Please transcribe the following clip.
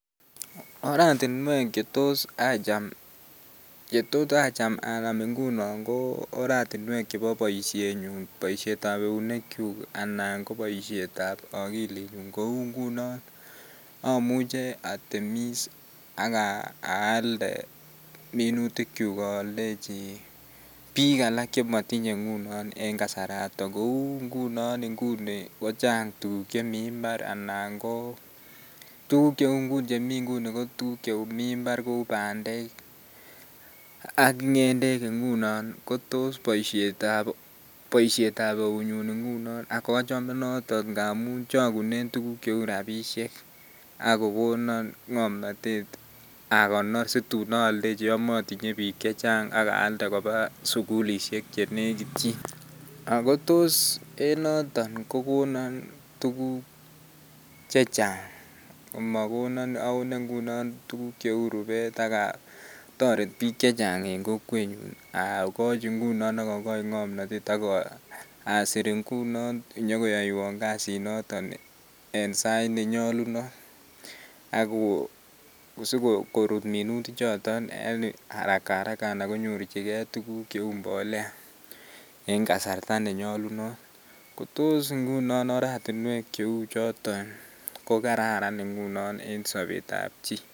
Oratinwek chetos acham anam ngunon ko oratinwek chebo boishenyun boishetab eunekyuk anan ko boishetab okilinyun kouu ngunon amuche atemis ak aalde minutikyuk oldechi biik alak chemotinye ngunon en kasarato, kouu en ngunon nguni kochang tukuk chemii mbar anan ko tukuk chemii nguni ko tukuk chemii mbar kouu bandek ak ngendek ngunon kotos boishetab eunyun ngunon ak achome noton ngamun chokunen tukuk cheuu rabishek ak kokonono ngomnotet akonor situn oldechi yoon motinye bii chechang ak aalde kobaa sukulishek chenekityin ak ko toos en noton kokonon tukuk chechang amakonon awone ngunon tukuk cheuu rubet ak otoret biik chechang en kokwenyun akochi ngunon ak okochi ngomnotet ak asir ngunon inyokoyoiwon kasinoton en sait nenyolunot ak ko sikorut minuti choton en araka araka anan konyorchike tukuk cheu mbolea en kasarta nenyolunot, kotos ngunon oratinwek cheu choton ko kararan ingunon en sobetab chii.